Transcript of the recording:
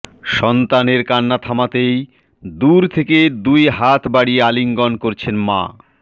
সন্তানের কান্না থামাতেই দূর থেকে দুই হাত বাড়িয়ে আলিঙ্গন করছেন মা